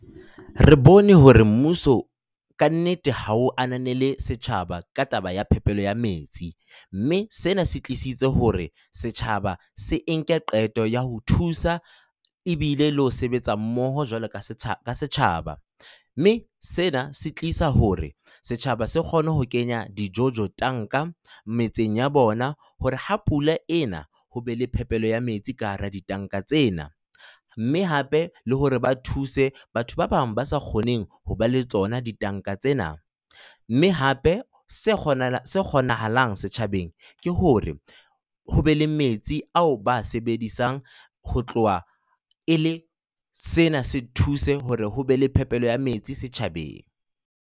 Re bone hore mmuso ka nnete ha o ananele setjhaba ka taba ya phepelo ya metsi. Mme sena se tlisitse hore setjhaba se nke qeto ya ho thusa ebile le ho sebetsa mmoho jwalo ka setjhaba, mme sena se tlisa hore setjhaba se kgone ho kenya dijojo tanka metseng ya bona hore ha pula e na ho be le phepelo ya metsi ka hara ditanka tsena, mme hape le hore ba thuse batho ba bang ba sa kgoneng ho ba le tsona ditanka tsena, mme hape se kgonang, kgonahalang setjhabeng ke hore ho be le metsi ao ba a sebedisang ho tloha e le sena se thuse hore ho be le phepelo ya metsi setjhabeng.